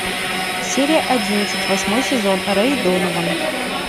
серия одиннадцать восьмой сезон рэй донован